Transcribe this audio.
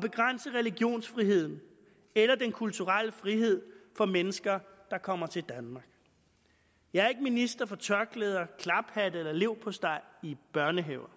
begrænse religionsfriheden eller den kulturelle frihed for mennesker der kommer til danmark jeg er ikke minister for tørklæder klaphatte eller leverpostej i børnehaver